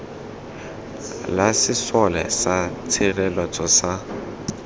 la sesole sa tshireletso sa